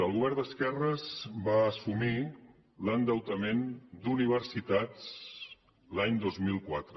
el govern d’esquerres va assumir l’endeutament d’universitats l’any dos mil quatre